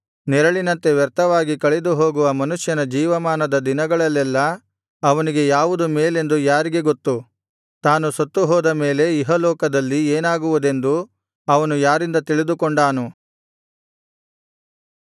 ನೆರಳಿನಂತೆ ವ್ಯರ್ಥವಾಗಿ ಕಳೆದುಹೋಗುವ ಮನುಷ್ಯನ ಜೀವಮಾನದ ದಿನಗಳಲ್ಲೆಲ್ಲಾ ಅವನಿಗೆ ಯಾವುದು ಮೇಲೆಂದು ಯಾರಿಗೆ ಗೊತ್ತು ತಾನು ಸತ್ತುಹೋದ ಮೇಲೆ ಇಹಲೋಕದಲ್ಲಿ ಏನಾಗುವುದೆಂದು ಅವನು ಯಾರಿಂದ ತಿಳಿದುಕೊಂಡಾನು